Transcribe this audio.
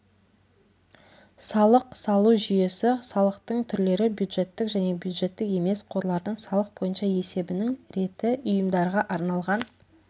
салық салу жүйесі салықтың түрлері бюджеттік және бюджеттік емес қорлардың салық бойынша есебінің реті ұйымдарға арналған